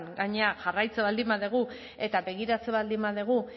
gainera jarraitzen baldin badugu eta begiratzen baldin badugu